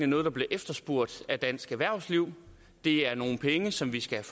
noget der bliver efterspurgt af dansk erhvervsliv det er nogle penge som vi skal